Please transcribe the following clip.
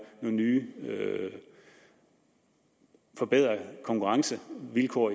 nogle nye og forbedrede konkurrencevilkår